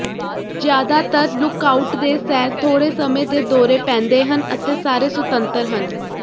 ਜ਼ਿਆਦਾਤਰ ਲੁੱਕਆਊਟ ਦੇ ਸੈਰ ਥੋੜ੍ਹੇ ਸਮੇਂ ਦੇ ਦੌਰੇ ਪੈਂਦੇ ਹਨ ਅਤੇ ਸਾਰੇ ਸੁਤੰਤਰ ਹਨ